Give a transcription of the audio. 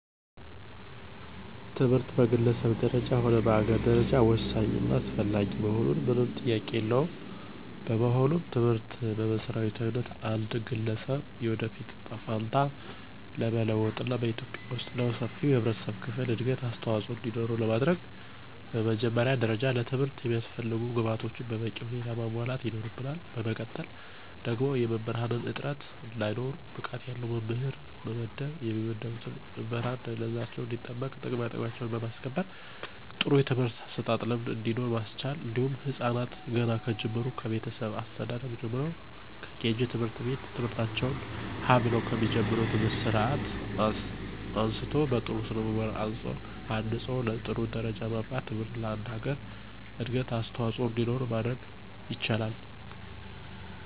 ትምህርት በግለሰብ ደረጃ ሆነ በአገር ደረጃ ወሳኝ እና አስፈላጊ መሆኑ ምንም ጥያቄ የለውም። በመሆኑም ትምህርትን በመሰረታዊነት የአንድ ገለሰብ የወደፊት እጣ ፈንታ ለመለወጥና በኢትዩጵያ ወስጥ ለሰፊው የህብረተሰብ ክፍል እድገት አስተዋፅኦ እንዲኖረው ለማድረግ በመጀመሪያ ደረጃ ለትምህርት የሚያስፈልጉ ግብአቶችን በበቂ ሁኔታ ማሟላት ይኖርብናል በመቀጠል ደግሞ የመምህራንን እጥረት እንዳይኖር ብቃት ያለው መምህር መመደብ የሚመደቡትን መምህራን ደህንነታቸው እንዲጠበቅና ጥቅማጥቅማቸውን በማስከበር ጥሩ የትምህርት አሰጣጥ ልምድ እንዲኖር ማስቻል እንዲሁም ህፃናትን ገና ከጅምሩ ከቤተሰብ አስተዳደግ ጀምሮ ከኬጂ ት/ቤት ትምህርታቸውን ሀ ብለው ከሚጀምሩበት ሰአት አንስቶ በጥሩ ስነምግባር አንፆ ለጥሩ ደረጃ ማብቃት ትምህርት ለአንድ ሀገር እድገት አስዋፆኦ እንዲኖር ማድረግ ይቻላል።